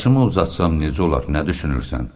Saçımı uzatsam necə olar, nə düşünürsən?